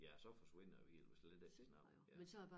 Ja og så forsvinder det jo helt hvis slet ikke de snakker det ja